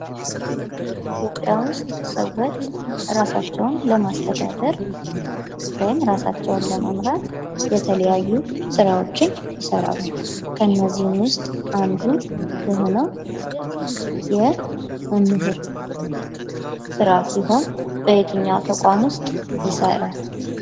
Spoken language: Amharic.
በኢትዮጵያ ዉስጥ ሰዎች ራሳቸውን ለማስተዳደር ወይም ራሳቸውን ለመምራት የተለያዩ ስራዎችን ይሰራሉ:: ከነዚህም ዉስጥ አንዱ የሆነው የመምህር ሥራ ሲሆን በየትኛው ተቋም ዉስጥ ይሰራል?